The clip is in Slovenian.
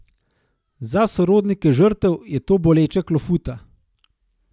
Za sorodnike žrtev je to boleča klofuta.